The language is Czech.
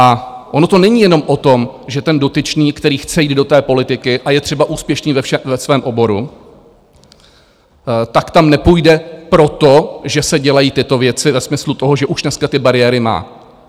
A ono to není jenom o tom, že ten dotyčný, který chce jít do té politiky a je třeba úspěšný ve svém oboru, tak tam nepůjde proto, že se dělají tyto věci ve smyslu toho, že už dneska ty bariéry má.